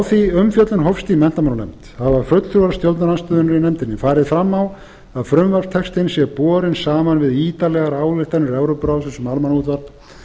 því umfjöllun hófst í menntamálanefnd hafa fulltrúar stjórnarandstöðunnar í nefndinni farið fram á að frumvarpstextinn sé borinn saman við ítarlegar ályktanir evrópuráðsins um almannaútvarp